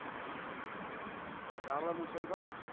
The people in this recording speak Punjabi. ਜਾਣਦਾ ਮੂਸੇ ਨੂੰ ਤਾਂ।